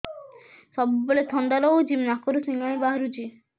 ସବୁବେଳେ ଥଣ୍ଡା ରହୁଛି ନାକରୁ ସିଙ୍ଗାଣି ବାହାରୁଚି